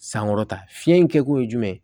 Sankɔrɔta fiɲɛ in kɛkun ye jumɛn ye